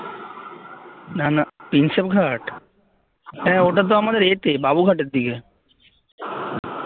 নানা প্রিন্সেপ ঘাট হ্যাঁ ওটা তো আমাদের এ তে বাবুঘাটের দিকে